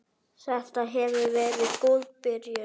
Þetta hefur verið góð byrjun.